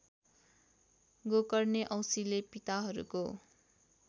गोकर्णे औसीले पिताहरूको